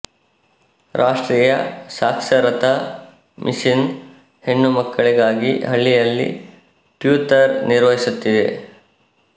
ರಾಷ್ಟ್ರೀಯ ಸಾಕ್ಷರತಾ ಮಿಷಿನ್ ಹೆಣ್ಣು ಮಕ್ಕಳಿಗಾಗಿ ಹಳ್ಳಿಯಲ್ಲಿ ಟ್ಯೂತರ್ ನಿರ್ವಹಿಸುತ್ತಿದೆ